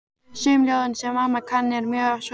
Sum ljóðin, sem amma kann, eru mjög sorgleg.